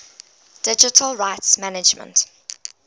digital rights management